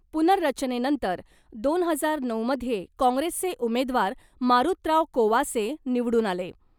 पुनर्रचनेनंतर दोन हजार नऊमध्ये काँग्रेसचे उमेदवार मारुतराव कोवासे निवडून आले .